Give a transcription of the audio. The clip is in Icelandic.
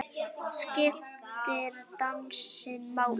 Skiptir dansinn máli?